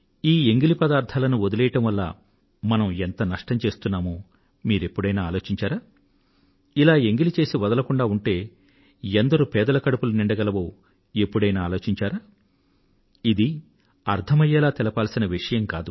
ఈ ఎంగిలి పదార్థాలను వదిలెయ్యడం వల్ల మనం ఎంత నష్టం చేస్తున్నామో మీరు ఎప్పుడైనా ఆలోచించారా ఇలా ఎంగిలి చేసి వదలకుండా ఉంటే ఎందరు పేదల కడుపులు నిండగలవో ఎప్పుడైనా ఆలోచించారా ఇది అర్థమయ్యేలా తెలపాల్సిన విషయం కాదు